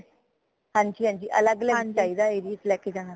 ਹਾਂਜੀ ਹਾਂਜੀ ਅਲਗ ਅਲਗ ਚਾਹੀਦਾ ਹੈਗਾ area ਚ ਲਿਜਾਣਾ